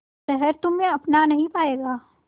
शहर तुम्हे अपना नहीं पाएगा